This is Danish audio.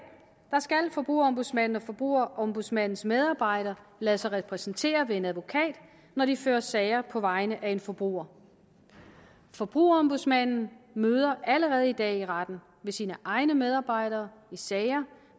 skal forbrugerombudsmanden og forbrugerombudsmandens medarbejdere lade sig repræsentere ved en advokat når de fører sager på vegne af en forbruger forbrugerombudsmanden møder allerede i dag i retten ved sine egne medarbejdere i sager